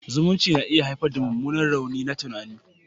Zumunci na iya haifar da mummunan rauni na tunani.